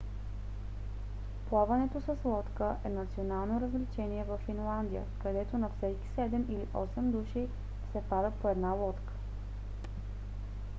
плаването с лодка е национално развлечение във финландия където на всеки седем или осем души се пада по една лодка